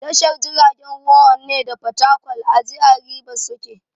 Tashar jiragen ruwan Onne da Fatakwal a jihar Ribas suke.